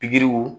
Pikiriw